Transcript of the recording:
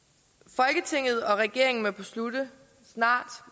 folketinget og regeringen må snart beslutte